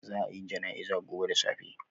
Zaa a yi janaiza gobe da safe